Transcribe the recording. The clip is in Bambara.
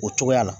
O cogoya la